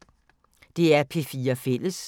DR P4 Fælles